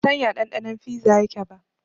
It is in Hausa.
Ban san ya ɗanɗanon fiza yake ba